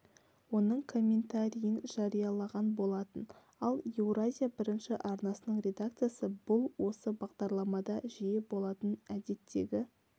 оның комментарийін жариялаған болатын ал еуразия бірінші арнасының редакциясы бұл осы бағдарламада жиі болатын әдеттегі